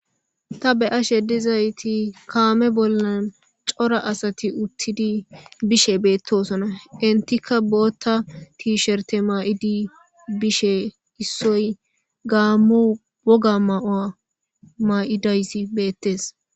Ta be'ashe dizaysi kaame bolla cora asati uttidi de'osona. Entika bootha tisherte mayidi bishe issoy Gamo woga mayo mayidaysi beetees.